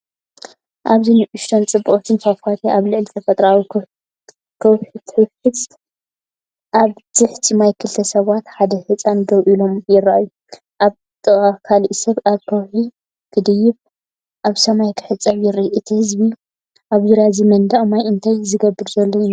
ኣብዚ ንእሽቶን ጽብቕትን ፏፏቴ ኣብ ልዕሊ ተፈጥሮኣዊ ከውሒትውሕዝ። ኣብ ትሕቲ ማይ ክልተ ሰባትን ሓደ ህጻንን ደው ኢሎምይረኣዩ። ኣብ ጥቓኡ ካልእ ሰብ ኣብ ከውሒ ክድይብ፡ኣብ ማይ ክሕጸብ ይረአ። እቲ ህዝቢ ኣብ ዙርያ እዚ መንደቕ ማይ እንታይ ዝገብር ዘሎ ይመስል?